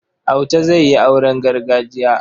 Auta zai yi auren gargajiya.